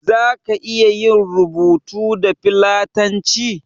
Zaka iya yin rubutu da fillanci?